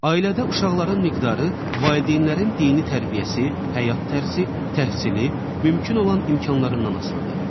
Ailədə uşaqların miqdarı valideynlərin dini tərbiyəsi, həyat tərzi, təhsili, mümkün olan imkanlarından asılıdır.